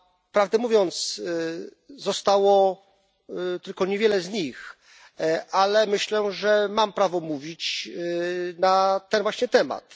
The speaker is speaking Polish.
Prawdę mówiąc zostało tylko niewielu z nich, ale myślę, że mam prawo mówić na ten właśnie temat.